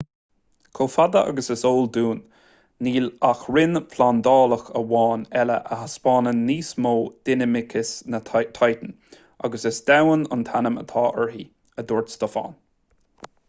chomh fada agus is eol dúinn níl ach rinn phláinéadach amháin eile a thaispeánann níos mó dinimicis ná titan agus is domhan an t-ainm atá uirthi a dúirt stofan